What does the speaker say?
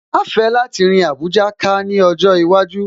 Màá fẹ́ láti rin Àbújá ká ní ọjọ́ iwájú